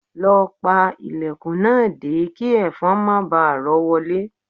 Lọ pa ilẹ̀kùn náà dé kí ẹ̀fọn má baà rọ́ wọlé